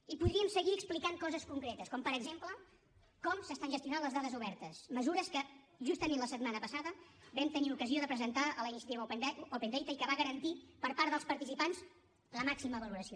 i podríem seguir explicant coses concretes com per exemple com s’estan gestionant les dades obertes mesures que justament la setmana passada vam tenir ocasió de presentar a la iniciativa open data i que va garantir per part dels participants la màxima valoració